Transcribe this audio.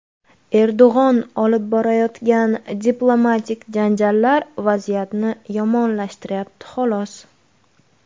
Erdo‘g‘on olib borayotgan diplomatik janjallar vaziyatni yomonlashtiryapti xolos.